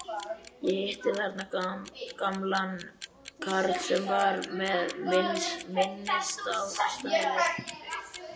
Ég hitti þarna gamlan karl sem varð mér minnisstæður.